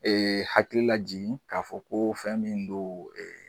Ee hakili lajigi k'a fɔ ko fɛn min don ee